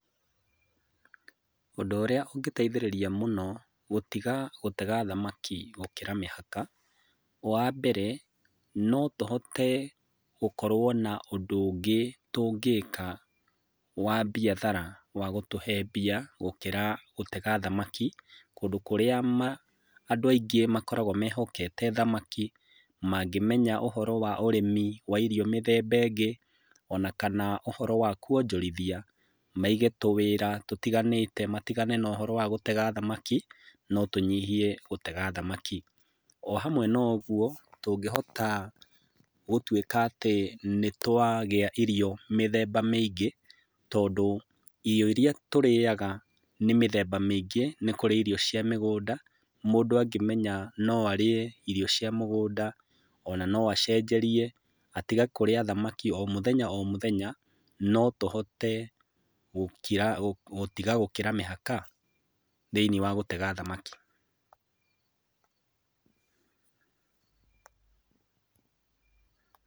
Ũndũ ũrĩa ũngĩteithirĩria mũno, gũtiga gũtega thamaki gũkĩra mĩhaka, wambere, no tũhote gũkorwo na ũndũ ũngĩ tũngĩka wa mbiathara, wa gũtũhe mbia, gũkĩra gũtega thamaki, kũndũ kũrĩa ma, andũ aingĩ makoragwo mehokete thamaki, mangĩmenya ũhoro wa ũrĩmi wa irio mĩthemba ĩngĩ, ona kana ũhoro wa kuonjorithia, maige tũwĩra, tũtiganĩte matigane na ũhoro wa gũtega thamaki, no tũnyihie gũtega thamaki. O hamwe na ũguo, tũngĩhota gũtuĩka atĩ nĩtwagĩa irio mĩthemba mĩingĩ, tondũ irio iria tũrĩaga nĩ mĩthemba mĩingĩ, nĩ kũrĩ iro cia mĩgũnda, mũndũ angĩmenya no arĩe irio cia mũgũnda, ona no acenjerie, atige kũrĩa thamaki o mũthenya o mũthenya, no tũhote gũkira gũtiga gũkĩra mĩhaka, thĩiniĩ wa gũtega thamaki. Pause